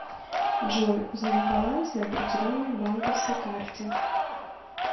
джой узнать баланс на определенной банковской карте